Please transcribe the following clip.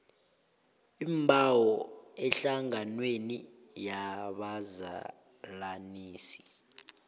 iimbawo ehlanganweni yabazalanisi